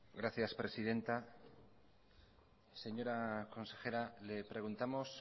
gracias presidenta señora consejera le preguntamos